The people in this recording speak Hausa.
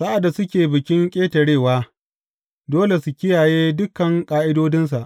Sa’ad da suke Bikin Ƙetarewa, dole su kiyaye dukan ƙa’idodinsa.